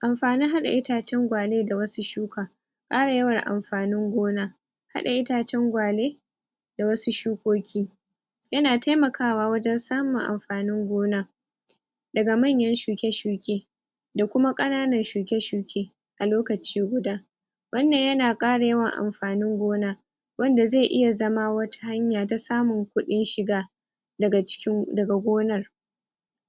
Amfanin hada itacen gwale da wasu shuka Kara yawan amfanin gona Hada itacen gwale Da wasu shukoki Yana taimaka wa wajen samun amfanin gona Daga manyan shuke shuke Da kuma kananan shuke-shuke A lokaci guda Wannan yana kara yawan amfanin gona Wanda zai iya zama wata hanya ta samun kudin shiga Daga cikin gonar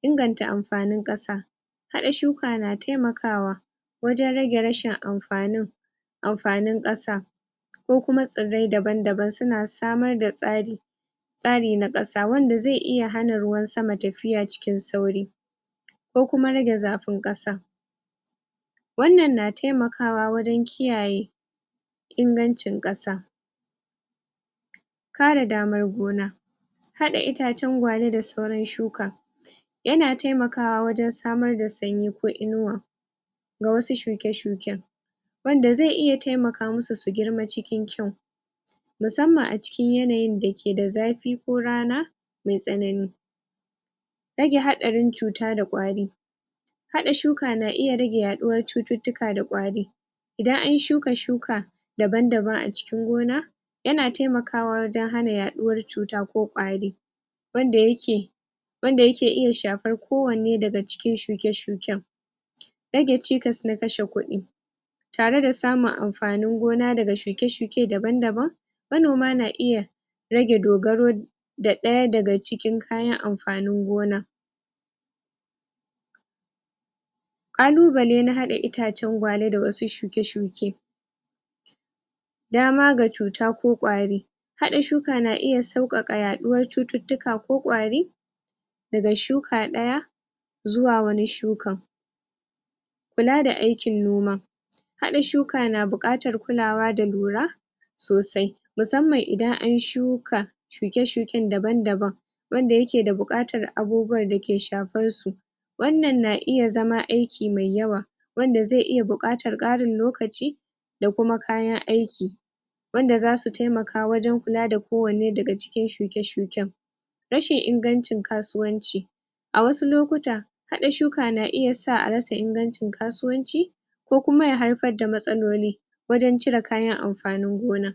Inganta amfanin kasa Hada shuka na taimaka wa Wajen rage rashin amfanin Amfanin kasa Ko kuma tsirai daban-daban suna samar da tsari Tsari na kasa wanda zai iya hana ruwan sama tafiya cikin sauri Ko kuma rage zafin kasa Wannan na taikama wa wajen kiyayye Ingancin kasa Kare damar gona Hada itacen gwale da sauran shuka Yana taimaka wa wajen samar da sanyi ko inuwa Ga wasu shuke-shuken Wanda zai iya taimaka masu su girma cikin kwau Musamman a cikin yanayin dake da zafi ko rana Mai tsanani Rage hadarin cuta da kwari Hada shuka na iya rage yaduwar cuttutuka da kwari Idan an shuka, shuka Daban-daban a cikin gona Yana taimaka wa wajen hana yaduwar cuta ko kwari Wanda yake Wanda yake iya shafar ko wane daga cikin shuke-shuken Rage cikas na kashe kudi Tare da samun amfanin gona daga shuke-shuke daban daban Manoma na iya Rage dogaru Ga daya daga cikin kayan amfanin gonar Kalubalen na hada itacen gwale da wasu shuke-shuke, Daman ga cuta ko kwari Hada shuka na iya saukaka yaduwar cuttutuka ko kwari! Daga shuka daya Zuwa wani shukan Kula da aikin noma Hada shuka na bukatar kulawa da lura Sosai Musamman idan an shuka Shuke shuken daban daban Wanda yake da bukatar abubuwan da ke shafar su Wannan na iya zama aiki mai yawa Wanda zai iya bukatar karin lokaci! Da kuma kayan aiki Wanda zasu taimaka wajen kula da kowane daga cikin shuke-shuken Rashin ingancin kasuwanci A wasu lokuta Hada shuka na iya sa a rasa ingancin kasuwanci Ko kuma ya haifar da matsaloli Wajen cire kayan amfanin gona